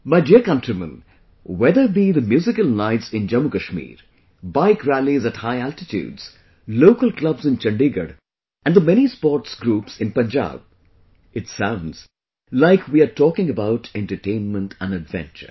My dear countrymen, whether be the Musical Nights in Jammu Kashmir, Bike Rallies at High Altitudes, local clubs in Chandigarh, and the many sports groups in Punjab,... it sounds like we are talking about entertainment and adventure